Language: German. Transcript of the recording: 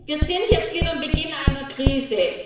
Wir sind jetzt wieder am Beginn einer Krise.